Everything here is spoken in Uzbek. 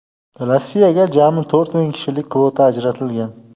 Rossiyaga jami to‘rt ming kishilik kvota ajratilgan.